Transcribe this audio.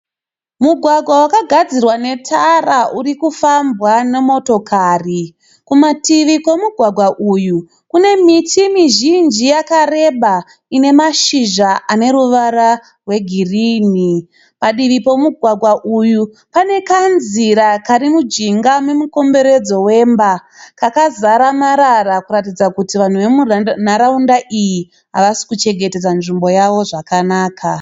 Mugwagwa wakagadzirwa netara urikufambwa nemotokari. Kumativi kwomugwagwa uyu kune miti mizhinji yakareba ine mashizha ane ruvara rwegirini. Padivi pomugwagwa uyu pane kanzira kari mujinga memukomberedzo wemba kakazara marara kuratidza kuti vanhu vemunharaunda iyi havasikuchengetedza nzvimbo yavo zvakanaka.